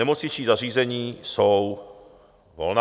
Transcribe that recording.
Nemocniční zařízení jsou volná.